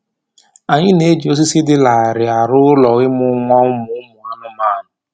Anyị na-eji osisi dị larịị arụ ụlọ ịmụ nwa ụmụ ụmụ anụmanụ